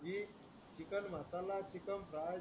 लिह चिकणमासाला चिकेन्फ्राय